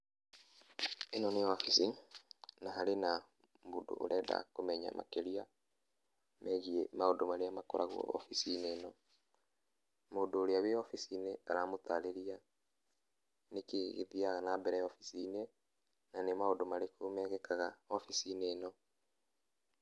ĩno nĩ obici, na harĩ na mũndũ ũrenda kũmenya makĩria ,wĩgiĩ maũndũ marĩa makoragwo obici-inĩ ĩno. Mũndũ ũrĩa wĩ obici-inĩ aramũtarirĩria kĩrĩa gĩthiaga na mbere obici-inĩ ,na nĩ maũndũ marĩkũ mekĩkaga obici-inĩ ĩno.